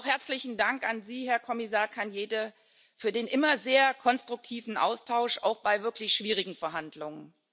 Herzlichen Dank auch an Sie, Herr Kommissar Arias Cañete, für den immer sehr konstruktiven Austausch, auch bei wirklich schwierigen Verhandlungen.